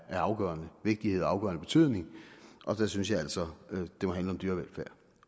vigtige og af afgørende betydning og der synes jeg altså det må handle om dyrevelfærd